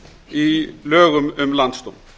í lögum um landsdóm